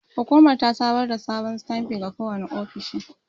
Hukumar ta samar da sabon sitanfi ga kowane ofishi.